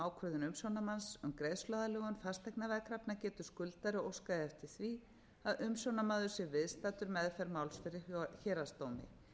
ákvörðun umsjónarmanns um greiðsluaðlögun fasteignaveðkrafna getur skuldari óskað eftir því að umsjónarmaður sé viðstaddur meðferð máls fyrir héraðsdómi